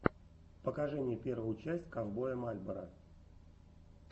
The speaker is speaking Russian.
покажи мне первую часть ковбоя мальборо